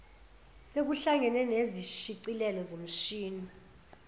sekuhlangene nezishicilelo zomshini